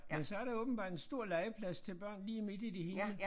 Men så der åbenbart en stor legeplads til børn lige midt i det hele